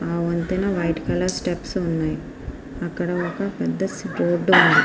ఆ వంతెన white colour steps ఉన్నాయి. అక్కడ ఒక పెద్ద రోడ్ ఉంది.